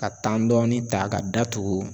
Ka dɔɔni ta ka da tugu.